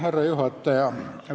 Härra juhataja!